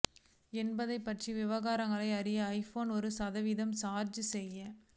என்பது பற்றிய விவரங்களை அறிய ஐபோன் ஒரு சதவீதம் சார்ஜ் செய்ய